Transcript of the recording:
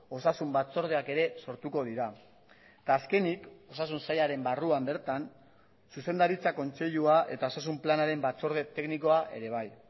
osasun batzordeak ere sortuko dira eta azkenik osasun sailaren barruan bertan zuzendaritza kontseilua eta osasun planaren batzorde teknikoa ere bai